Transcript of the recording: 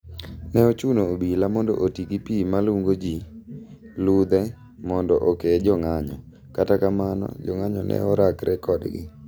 Ne ochuno obila mondo otigi pii malungo gi ludhe mondo okee jong'anyo . kata kamano, jong'anyo ne orakre kodgi.